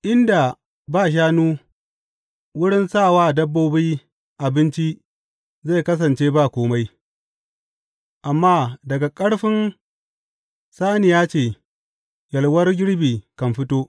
Inda ba shanu, wurin sa wa dabbobi abinci zai kasance ba kome, amma daga ƙarfin saniya ce yalwar girbi kan fito.